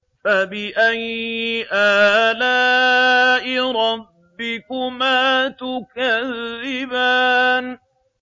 فَبِأَيِّ آلَاءِ رَبِّكُمَا تُكَذِّبَانِ